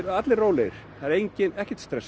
eru allir rólegir það er ekkert stress